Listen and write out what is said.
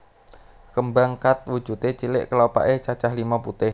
Kembang Khat wujude cilik kelopake cacah limo putih